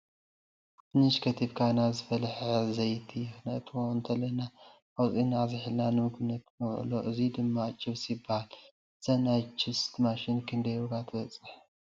ድንሽ ከቲፍካ ናብ ዝፈለሐ ዘይቲ ክንእትዎ እንተለና ኣውፂኢና ኣዝሒልና ንምግብነት ነውዕሎ እዚ ድማ ችፕስ ይበሃል::እዛ ናይ ችስት ማሽን ክንደይ ዋጋ ትበፅሕ ?